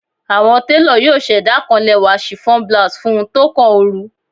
Awọn telo yoo ṣẹda kan lẹwa chiffon blouse fun u tókàn ooru